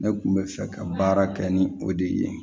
Ne kun bɛ fɛ ka baara kɛ ni o de ye